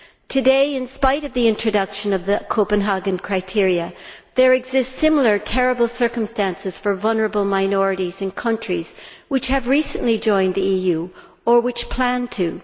Today, in spite of the introduction of the Copenhagen criteria, there exist similar terrible circumstances for vulnerable minorities in countries which have recently joined the EU or which plan to.